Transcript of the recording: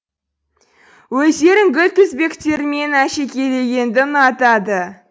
өздерін гүл тізбектерімен әшекейлегенді ұнатады